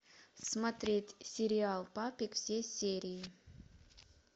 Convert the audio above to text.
смотреть сериал папик все серии